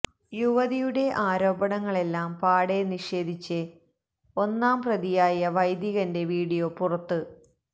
യുവതിയുടെ ആരോപണങ്ങളെല്ലാം പാടെ നിഷേധിച്ച് ഒന്നാം പ്രതിയായ വൈദികന്റെ വീഡിയോ പുറത്ത്